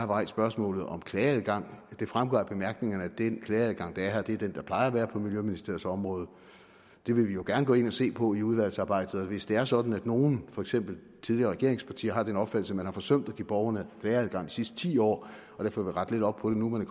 rejst spørgsmålet om klageadgang det fremgår af bemærkningerne at den klageadgang der er her er den der plejer at være på miljøministeriets område det vil vi jo gerne gå ind og se på i udvalgsarbejdet og hvis det er sådan at nogle for eksempel tidligere regeringspartier har den opfattelse at man har forsømt at give borgerne klageadgang sidste ti år og derfor vil rette lidt op på det nu man